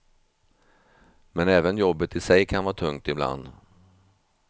Men även jobbet i sig kan vara tungt ibland.